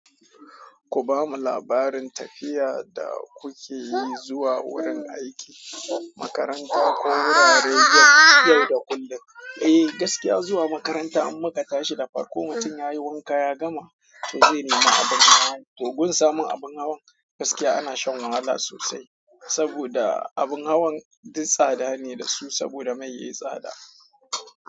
Ku bamu labarin tafiya da kuke yi zuwa wurin aiki, makaranta ko wuraren yau da kullum. Eh gaskiya zuwa makaranta in muka tashi da farko mutum ya yi wanka ya gama to zai nema abin hawa. To gun samun abin hawan gaskiya ana shan wahala sosai. Saboda abin hawan duk tsada ne dasu saboda mai yayi tsada.